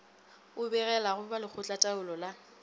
o begelago ba lekgotlataolo la